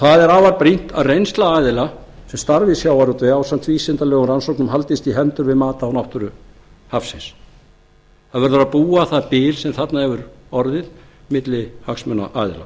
það er afar brýnt að reynsla aðila sem starfa í sjávarútvegi ásamt vísindalegum rannsóknum haldist í hendur við mat á náttúru hafsins það verður að brúa það bil sem þarna hefur orðið milli hagsmunaaðila